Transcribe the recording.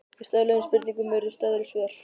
Við stöðluðum spurningum urðu til stöðluð svör.